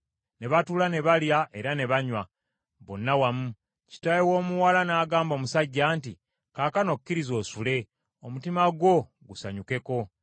Ne batuula ne balya era ne banywa bonna wamu. Kitaawe w’omuwala n’agamba omusajja nti, “Kaakano kkiriza osule, omutima gwo gusanyukeko.”